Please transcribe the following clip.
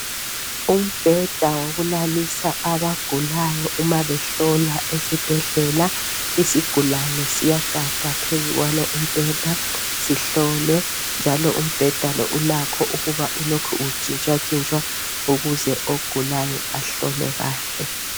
Umbheda wokulalisa abagulayo uma behlola esibhedlela isigulane siyagada phezu kwalo umbheda sihlolwe njalo umbheda lo ulakho ukuba ulokhu utshintshwa tshintshwa ukuze ogulayo ahlolwe kahle.